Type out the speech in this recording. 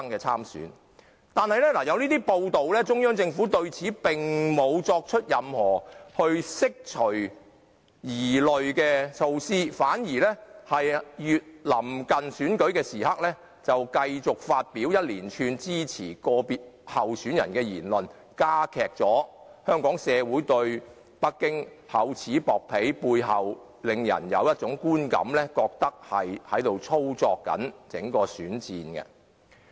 雖然有這樣的報道，中央政府卻沒有任何釋除我們疑慮的舉動，反而在臨近選舉的時刻，繼續發表連串支持個別候選人的言論，加劇香港社會對北京厚此薄彼的感覺，令人感到北京一直在操縱整個選戰。